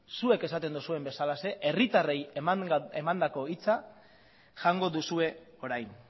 zuek esaten duzuen bezalaxe herritarrei emandako hitza jango duzue orain